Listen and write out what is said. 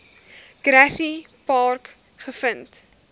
grassy park gevind